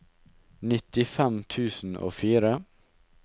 nittifem tusen og fire